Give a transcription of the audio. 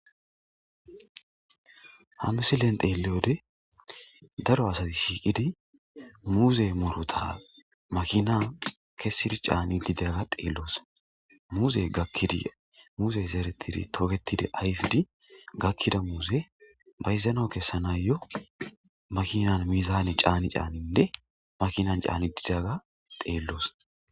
hamisillen teeleyode daro asati shiiqidi muuze murota makinan kesidi caani didaga deelloos muuze gakkidi muuze zeretidi tooketidi ayfidi gakkida muuze bayzano kessana yo makinan mizaane caani caaninne makinan caani didaga teelloos